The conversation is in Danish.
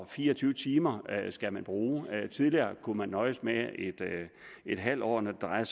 fire og tyve timer skal man bruge tidligere kunne man nøjes med en halv år når det drejer